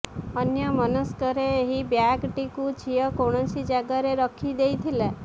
ଅନ୍ୟମନସ୍କରେ ଏହି ବ୍ୟାଗଟିକୁ ଝିଅ କୌଣସି ଜାଗାରେ ରଖି ଦେଇଥିଲା